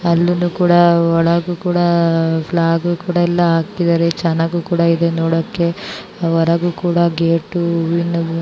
ಅಲ್ಲುನು ಕೂಡ ಒಳಗು ಕೂಡ ಪ್ಲಾಗೂ ಕೂಡ ಆಕಿದರೆ ಚೆನ್ನಾಗಿ ಕೂಡ ಇದೆ ನೋಡೋದಕ್ಕೆ ಹೊರಗೆ ಕೂಡ ಗೇಟ್